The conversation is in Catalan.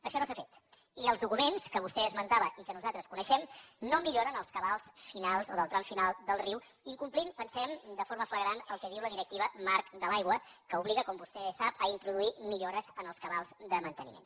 això no s’ha fet i els documents que vostè esmentava i que nosaltres coneixem no milloren els cabals finals o del tram final del riu incomplint pensem de forma flagrant el que diu la directiva marc de l’aigua que obliga com vostè sap a introduir millores en els cabals de manteniment